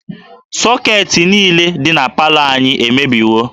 Sọketị niile dị na palọ anyị emebiwo